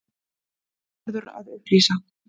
Þetta verður að upplýsa.